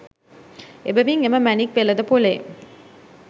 එබැවින් එම මැණික් වෙළඳපොලේ